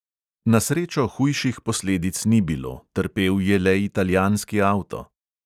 Na srečo hujših posledic ni bilo, trpel je le italijanski avto.